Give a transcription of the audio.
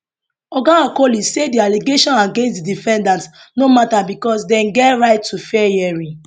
oga okoli say di allegation against di defendants no matter becos dem get right to fair hearing